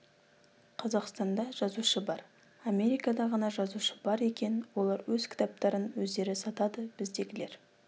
қазақстанда жазушы бар америкада ғана жазушы бар екен олар өз кітаптарын өздері сатады біздегілер